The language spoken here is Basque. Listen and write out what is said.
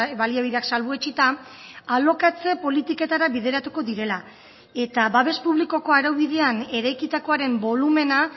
baliabideak salbuetsita alokatze politiketara bideratuko direla eta babes publikoko araubidean eraikitakoaren bolumena